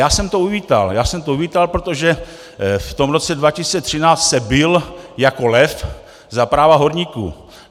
Já jsem to uvítal, protože v tom roce 2013 se bil jako lev za práva horníků.